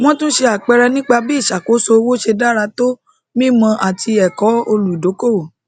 wọn tún ṣe àpẹẹrẹ nípa bí ìṣàkóso owó ṣe dára tó mímọ àti ẹkọ olùdókòwò